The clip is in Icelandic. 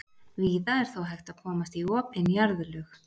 Víða er þó hægt að komast í opin jarðlög.